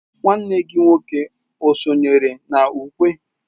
nwanne gi nwoke o sonyere na ukwe?